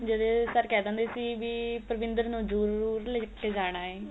ਜੜੇ sir ਕਹਿ ਦੇਂਦੇ ਸੀ ਵੀ ਪਰਵਿੰਦਰ ਨੂੰ ਜਰੂਰ ਲੈ ਕੇ ਜਾਣਾ ਏ